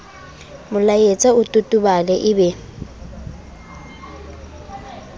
molaetsa o totobale e be